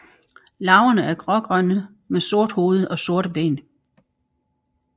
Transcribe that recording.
Larverne er grågrønne med sort hoved og sorte ben